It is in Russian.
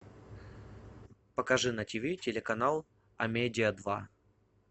покажи на тиви телеканал амедиа два